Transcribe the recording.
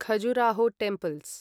Khajuraho temples